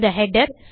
இந்த ஹெடர்